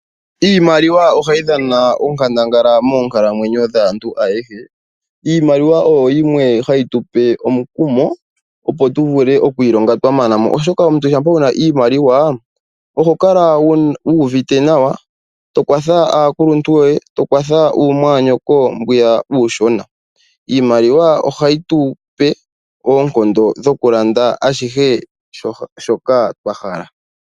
Iimaliwa ohayi dhana onkandangala moonkalamwenyo dhaantu ayehe. Iimaliwa oyo yimwe hayi tu pe omukumo, opo tu vule okwiilonga twa mana mo, oshoka omuntu shampa wu na iimaliwa, oho kala wu uvite nawa, to kwatha aakuluntu yoye, to kwatha uumwaanyoko mbwiya uushona. Iimaliwa ohayi tu pe oonkondo dhokulanda ashihe shoka twa hala.